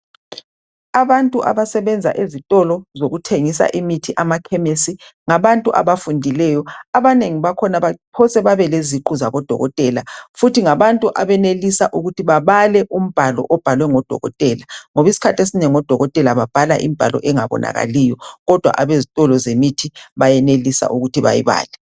Abantu abasebenza ezitolo zokuthengisa imithi emakhemesi, ngabantu abafundileyo. Abanengi bakhona baphosa babe leziqu zabodokotela futhi ngabantu abenelisa ukuthi babale umbhalo obhalwe ngodokotela ngoba isikhathi esinengi odokotela babhala imbhalo engabonakaliyo kodwa abezitolo zemithi bayenelisa ukuthi bayibale.